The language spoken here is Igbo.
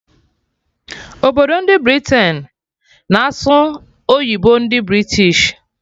Obodo ndị Britain na-asụ oyibo ndị British